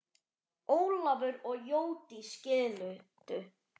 Ólafur og Jódís skildu.